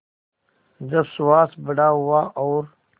जब सुहास बड़ा हुआ और